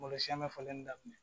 Malo siyɛn bɛ falen daminɛ